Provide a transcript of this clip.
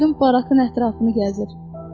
Gördüm barakın ətrafını gəzir.